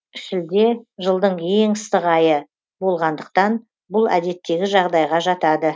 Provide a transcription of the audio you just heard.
шілде жылдың ең ыстық айы болғандықтан бұл әдеттегі жағдайға жатады